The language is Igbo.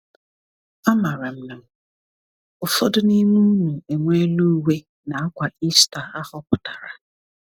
Amaara m na ụfọdụ n’ime unu enweela uwe na akwa Easter ahọpụtara.